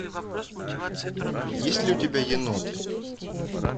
есть ли у тебя еноты